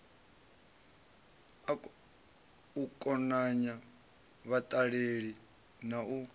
u konanya vhaṱaleli na u